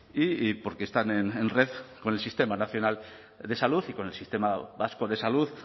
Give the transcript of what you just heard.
y porque están en red con el sistema nacional de salud y con el sistema vasco de salud